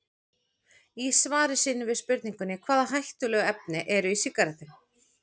Í svari sínu við spurningunni Hvaða hættulegu efni eru í sígarettum?